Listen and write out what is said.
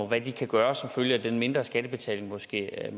hvad de kan gøre som følge af den mindre skattebetaling måske er